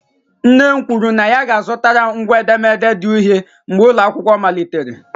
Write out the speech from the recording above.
Nne m kwuru na ya ga-azụtara m ngwa edemede di uhie mgbe ụlọ akwụkwọ malitere.